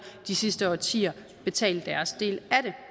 de sidste årtier betale deres del